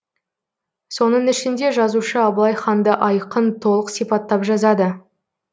соның ішінде жазушы абылай ханды айқын толық сипаттап жазады